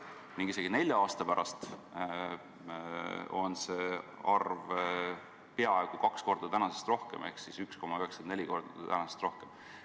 Ning isegi nelja aasta pärast on see arv peaaegu kaks korda tänasest suurem, täpsemalt 1,94 korda tänasest suurem.